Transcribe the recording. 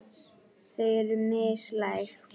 Þau eru mislæg.